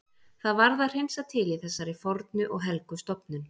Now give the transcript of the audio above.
Það varð að hreinsa til í þessari fornu og helgu stofnun.